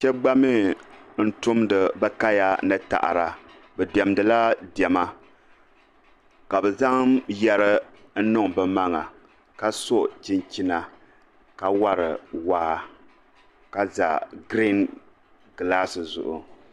Shɛba gba mii n tumdi bɛ kaya ni taɣaada bi diɛmdila diɛma ka bɛ zaŋ yeri n niŋ bɛ maŋa ka so chinchina ka wari waa ka za girin gilaasi zuɣu.